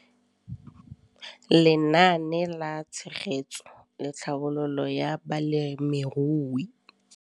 Lenaane la Tshegetso le Tlhabololo ya Balemirui.